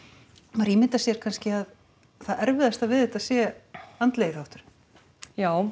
maður ímyndar sér kannski að það erfiðasta við þetta sé andlegi þátturinn já